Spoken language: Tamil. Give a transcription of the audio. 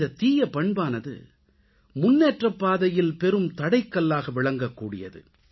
இந்த தீய பண்பானது முன்னேற்றப்பாதையில் பெரும் தடைக்கல்லாக விளங்கக்கூடியது